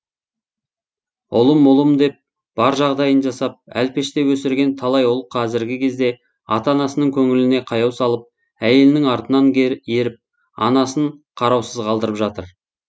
ұлым ұлым деп бар жағдайын жасап әлпештеп өсірген талай ұл қазіргі кезде ата анасының көңіліне қаяу салып әйелінің артынан еріп анасын қараусыз қалдырып жатыр